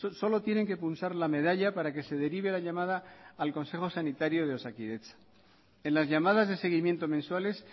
solo tienen que pulsar la medalla para que se derive la llamada al consejo sanitario de osakidetza en las llamadas de seguimiento mensuales